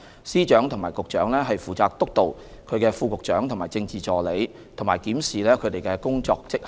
司長和局長負責督導其副局長和政治助理，以及檢視其工作績效。